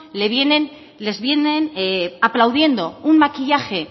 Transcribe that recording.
les vienen aplaudiendo un maquillaje